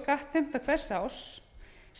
skattheimta hvers árs